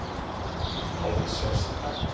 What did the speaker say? Rák sést ekki.